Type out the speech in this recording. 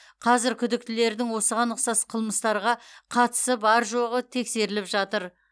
қазір күдіктілердің осыған ұқсас қылмыстарға қатысы бар жоғы тексеріліп жатыр